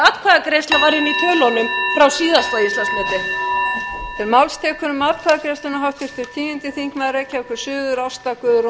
er komið málþóf í fjárlögin íslandsmet það er nú þegar orðið því að atkvæðagreiðsla var inni í tölunum frá síðasta íslandsmeti